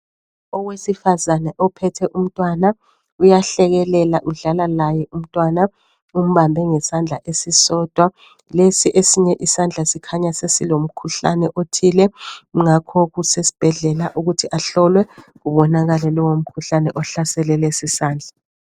Owesifazana ophethe umntwana, uyahlekelela udlala laye umntwana umbambe ngesandla esisodwa. Lesi esinye isandla sikhanya sesilomkhuhlane othile, ngakho kusesbhedlela ukuthi ahlolwe kubonakale lowo mkhuhlane ohlasele lesi sandla.